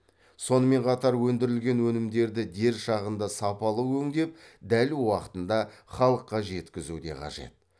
сонымен қатар өндірілген өнімдерді дер шағында сапалы өңдеп дәл уақытында халыққа жеткізу де қажет